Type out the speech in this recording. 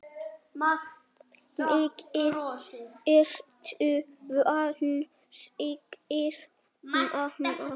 Mikið ertu vænn, segir mamma.